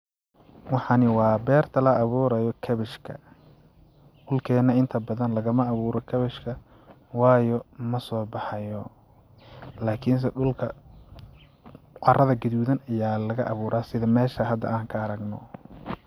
Waxani waa berta la abuurayo cabbage ka dhulkeena inta badan laga ma abuuro cabbage ka waayo ma soobaxayao lakinse dhulka carada gaduudan ayaa laga abuura sida mesha hada aan ka aragno.